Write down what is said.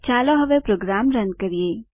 ચાલો હવે program run કરીએ